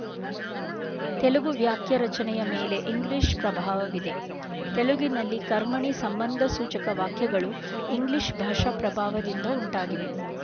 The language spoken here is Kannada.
ತೆಲುಗು ವಾಕ್ಯರಚನೆಯ ಮೇಲೆ ಇಂಗ್ಲೀಷ್ ಪ್ರಭಾವವಿದೆ ತೆಲುಗಿನಲ್ಲಿ ಕರ್ಮಣಿ ಸಂಬಂಧಸೂಚಕ ವಾಕ್ಯಗಳು ಇಂಗ್ಲೀಷ್ ಭಾಷಾಪ್ರಭಾವದಿಂದ ಉಂಟಾಗಿವೆ